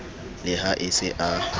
le ha e se a